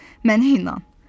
Mənə inan.